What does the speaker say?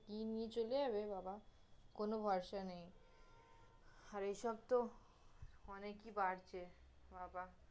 কি নিয়ে চলে যাবে বাবা, কোন ভরসা নেই, আর এসব তহ অনেকই বাড়ছে বাবা